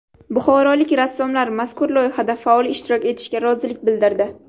Buxorolik rassomlar mazkur loyihada faol ishtirok etishga rozilik bildirdi.